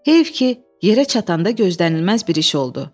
Heyf ki, yerə çatanda gözlənilməz bir iş oldu.